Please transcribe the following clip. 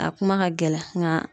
A kuma ka gɛlɛn nka